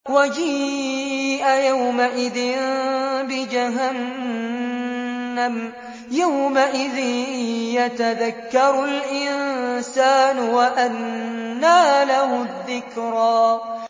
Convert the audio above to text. وَجِيءَ يَوْمَئِذٍ بِجَهَنَّمَ ۚ يَوْمَئِذٍ يَتَذَكَّرُ الْإِنسَانُ وَأَنَّىٰ لَهُ الذِّكْرَىٰ